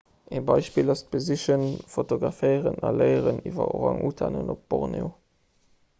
e beispill ass d'besichen fotograféieren a léieren iwwer orang-utanen op borneo